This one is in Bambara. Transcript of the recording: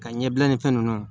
Ka ɲɛbila ni fɛn nunnu ye